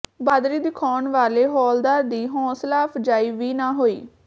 ਬਹਾਦਰੀ ਦਿਖਾਉਣ ਵਾਲੇ ਹੌਲਦਾਰ ਦੀ ਹੌਸਲਾਅਫਜ਼ਾਈ ਵੀ ਨਾ ਹੋਈ